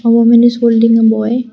a woman is holding a boy.